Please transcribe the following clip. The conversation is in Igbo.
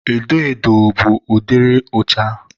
edo edo bụ ụdịrị ụcha.